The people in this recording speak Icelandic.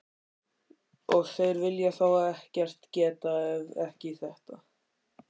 Og þeir vilja þá ekkert geta, ef ekki þetta.